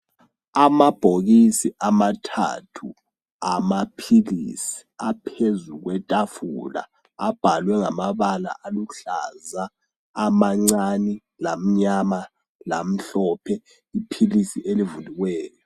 Amabhokisi amathathu amaphilisi aphezu kwetafula abhalwe ngamabala aluhlaza amancani lamnyama lamhlophe. Iphilisi elivuliweyo.